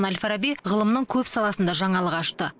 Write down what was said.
әл фараби ғылымның көп саласында жаңалық ашты